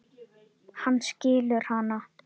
Hann skilur hana.